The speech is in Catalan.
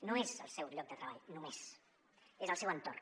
no és el seu lloc de treball només és el seu entorn